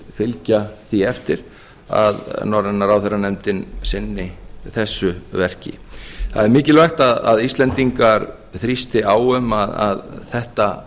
fylgja því eftir að norræna ráðherranefndin sinni þessu verki það er mikilvægt að íslendingar þrýsti á um að þetta